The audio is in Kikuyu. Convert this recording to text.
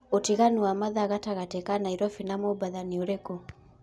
utiganu wa mathaa gatagati ka naĩrobĩ na mombatha nĩ ũrĩkũ